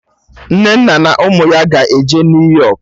Nnenna na ụmụ ya ga-eje New Yọk